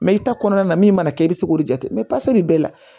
Mɛ i ta kɔnɔna na min mana kɛ i bɛ se k'o jate bɛɛ la